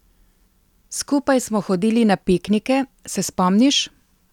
Skupaj smo hodili na piknike, se spomniš?